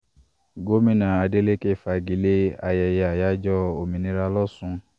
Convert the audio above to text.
gomina adeleke fagi lé ayẹyẹ àyájọ́ òmìnira lòsùn